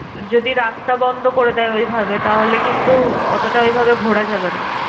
যদি রাস্তা বন্ধ করে দেয় ওইভাবে তাহলে কিন্তু অতটা ওইভাবে ঘোরা যাবেনা।